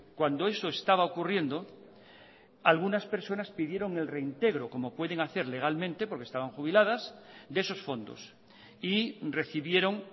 cuando eso estaba ocurriendo algunas personas pidieron el reintegro como pueden hacer legalmente porque estaban jubiladas de esos fondos y recibieron